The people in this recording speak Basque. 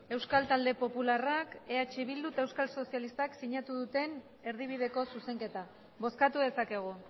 euskal talde popularrak eh bildu eta euskal sozialistak sinatu duten erdibideko zuzenketa bozkatu dezakegu